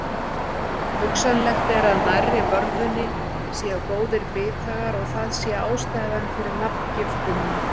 Hugsanlegt er að nærri vörðunni séu góðir bithagar og að það sé ástæðan fyrir nafngiftinni.